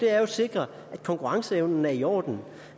er jo at sikre at konkurrenceevnen er i orden